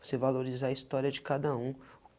Você valorizar a história de cada um.